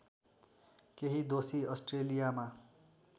केही दोषी अस्ट्रेलियामा